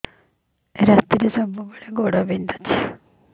ରାତିରେ ସବୁବେଳେ ଗୋଡ ବିନ୍ଧୁଛି